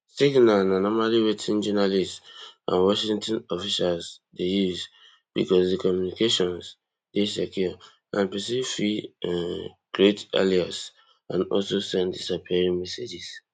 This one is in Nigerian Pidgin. signal na normally wetin journalists and washington officials dey use bicos di communications dey secure and pesin fit um create alias and also send disappearing messages